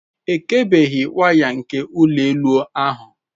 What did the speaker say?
Ekebeghị waya nke ụlọ elu ahụ.